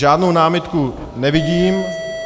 Žádnou námitku nevidím.